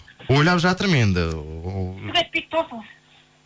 ойлап жатырмын енді түк етпейді тосыңыз